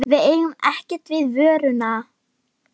Við eigum ekkert við vöruna.